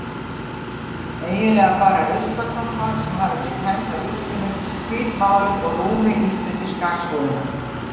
Eiginlega bara ruslakompa sem hafði verið tæmd af ruslinu, hvítmáluð og rúmi ýtt undir skarsúðina.